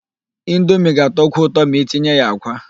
Indomie ga-atọkwu ụtọ ma itinye ya àkwá.